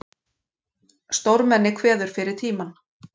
Stórmenni kveður fyrir tímann